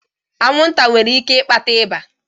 Anwụnta nwere ike ịkpata ịba?